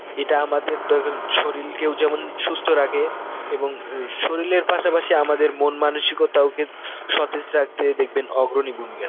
এটা আমাদের ধ~ ধরুন শরীলকেও যেমন সুস্থ রাখে এবং উম শরীলের পাশাপশি আমাদের মন মানসিকতাও কি~ সতেজ রাখতে দেখবেন অগ্রণী ভূমিকা